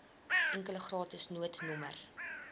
enkele gratis noodnommer